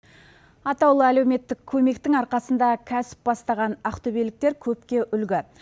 атаулы әлеуметтік көмектің арқасында кәсіп бастаған ақтөбеліктер көпке үлгі